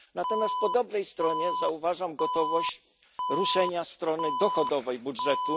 Natomiast po dobrej stronie zauważam gotowość do ruszenia strony dochodowej budżetu.